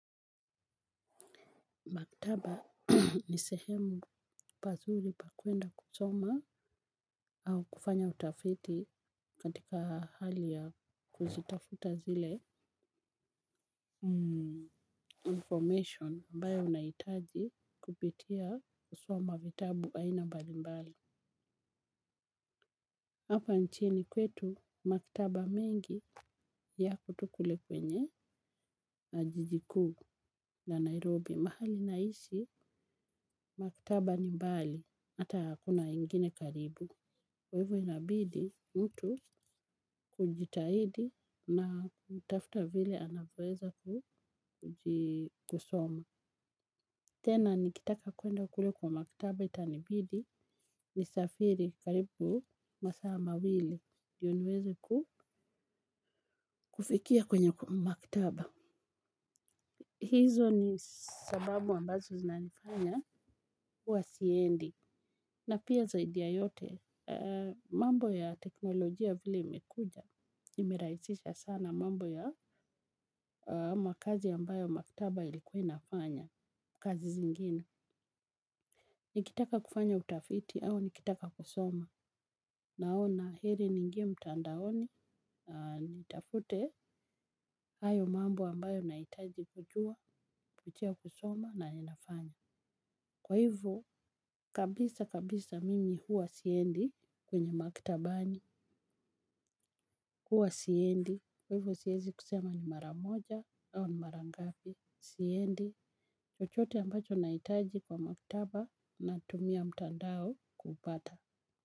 Maktaba ni sehemu pazuri pa kwenda kusoma au kufanya utafiti katika hali ya kuzitafuta zile information ambayo unahitaji kupitia kusoma vitabu aina mbalimbali. Hapa nchini kwetu maktaba mengi yako tu kule kwenye na jiji kuu ya Nairobi. Mahali naishi maktaba ni mbali hata hakuna ingine karibu. Kwa hivyo inabidi mtu kujitahidi na kutafuta vile anavyoweza kuji kusoma. Tena nikitaka kuenda kule kwa maktaba itanibidi ni safiri karibu masaa mawili. Ndiyo niweze kufikia kwenye maktaba. Hizo ni sababu ambazo zinanifanya huwa siendi. Na pia zaidi ya yote mambo ya teknolojia vile imekuja nimerahisisha sana mambo ya makazi ambayo maktaba ilikuwa inafanya kazi zingine. Nikitaka kufanya utafiti, au nikitaka kusoma. Naona heri niingie mtandaoni, nitafute hayo mambo ambayo nahitaji kujua licha ya kusoma na yanafanya. Kwa hivyo kabisa kabisa mimi huwa siendi kwenye maktabani huwa siendi kwa hivyo siwezi kusema ni mara moja au ni mara ngapi. Siendi chochote ambacho na hitaji kwa maktaba natumia mtandao kupata.